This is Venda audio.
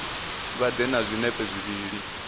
vha ḓe na zwinepe zwivhili